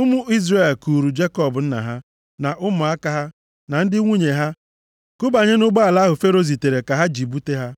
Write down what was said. Ụmụ Izrel kuuru Jekọb nna ha, na ụmụaka ha na ndị nwunye ha, kubanye nʼụgbọala ahụ Fero zitere ka ha ji bute ya.